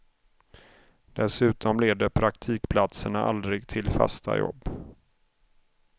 Dessutom leder praktikplatserna aldrig till fasta jobb.